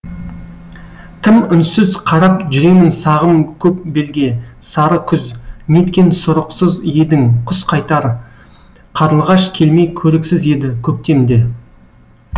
тым үнсіз қарап жүремін сағым көк белге сары күз неткен сұрықсыз едің құс қайтар қарлығаш келмей көріксіз еді көктем де